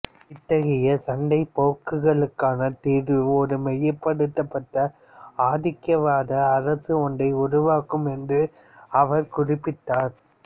இத்தகைய சண்டைப் போக்குகளுக்கான தீர்வு ஒரு மையப்படுத்தப்பட்ட ஆதிக்கவாத அரசு ஒன்றை உருவாக்கும் என்றும் அவர் குறிப்பிட்டார்